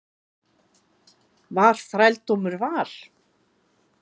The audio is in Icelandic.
Var þrældómur val?